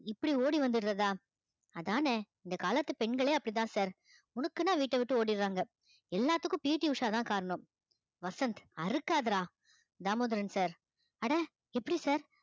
இப்படி ஓடி வந்திடுறதா அதானே இந்த காலத்து பெண்களே அப்படித்தான் sir வீட்டை விட்டு ஓடிறாங்க எல்லாத்துக்கும் PT உஷாதான் காரணம் வசந்த் அறுக்காதடா தாமோதரன் sir அட எப்படி sir